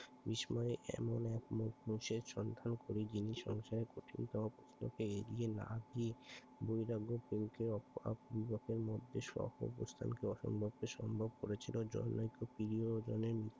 এসময় এমন এক করে যিনি সংসারে কঠিনতর প্রশ্ন কে এড়িয়ে না গিয়ে বৈরাগ্য প্রেম কে মধ্যে সহবস্থান করে অসম্ভব কে সম্ভব করেছিলেন